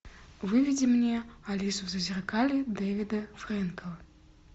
выведи мне алису в зазеркалье девида фрэнкала